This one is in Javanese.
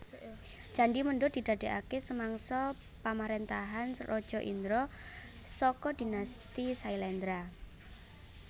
Candhi Mendut diadegaké samangsa pamaréntahan Raja Indra saka dinasti Syailendra